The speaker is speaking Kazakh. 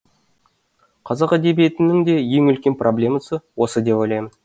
қазақ әдебиетінің де ең үлкен проблемасы осы деп ойлаймын